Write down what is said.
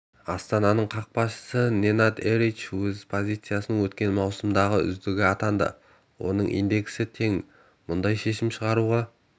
астананың қақпашысы ненад эрич өз позициясында өткен маусымның үздігі атанды оның индексі тең мұндай шешім шығаруға